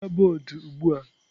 Hichaa bọọdụ ugbu a!